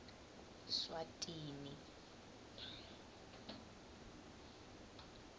swatini